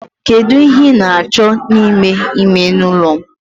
Kedu ihe ị na-achọ n'ime ime ụlọ m?